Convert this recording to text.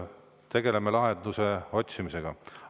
Tegeleme lahenduse otsimisega.